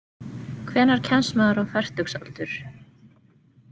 Hvenær kemst maður á fertugsaldur?